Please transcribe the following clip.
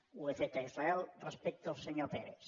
ho he fet a israel respecte al senyor peres